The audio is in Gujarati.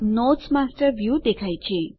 નોટ્સ માસ્ટર વ્યુ દેખાય છે